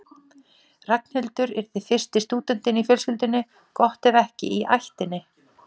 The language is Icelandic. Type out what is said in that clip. Ragnhildur yrði fyrsti stúdentinn í fjölskyldunni, gott ef ekki í ættinni.